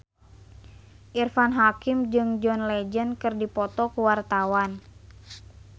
Irfan Hakim jeung John Legend keur dipoto ku wartawan